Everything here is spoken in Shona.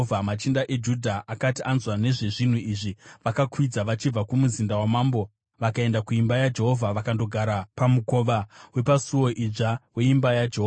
Machinda eJudha akati anzwa nezvezvinhu izvi, vakakwidza vachibva kumuzinda wamambo vakaenda kuimba yaJehovha vakandogara pamukova wepaSuo Idzva weimba yaJehovha.